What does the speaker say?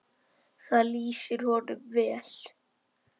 Það lýsir honum vel.